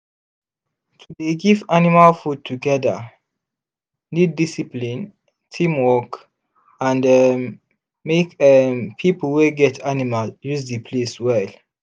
to dey give animal food together need discipline teamwork and um make um people wey get animal use the place well.